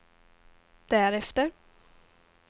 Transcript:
därefter